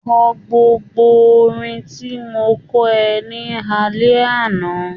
Kọ gbogbo orin tí mo kọ́ ẹ ní alẹ́ àná.